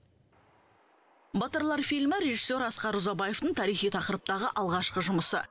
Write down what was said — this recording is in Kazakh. батырлар фильмі режиссер асқар ұзабаевтың тарихи тақырыптағы алғашқы жұмысы